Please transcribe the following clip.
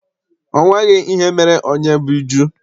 O nweghị ihe mere onyebbijụ́